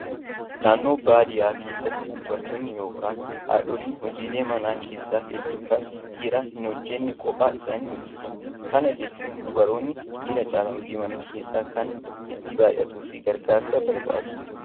Naannoo baadiyyaa keessatti dubartoonni yookaan haadholiin hojiilee mana keessaa hedduu kan dhiirri hin hojjanne kophaa isaanii hojjatu. Kana jechuun dubaroonni dhiira caalaa hojiin mana keessaa kan itti baaya'atuu fi gargaarsa barbaadu.